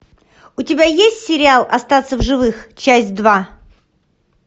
у тебя есть сериал остаться в живых часть два